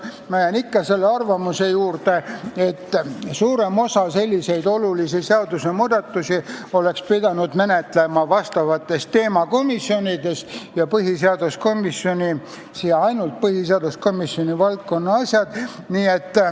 Ma jään ikka selle arvamuse juurde, et suuremat osa sellistest olulistest seadusmuudatustest oleks pidanud menetlema teemakomisjonides ja põhiseaduskomisjoni oleksid pidanud tulema ainult põhiseaduskomisjoni valdkonna asjad.